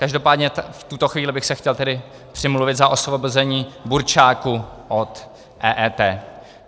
Každopádně v tuto chvíli bych se chtěl tedy přimluvit za osvobození burčáku od EET.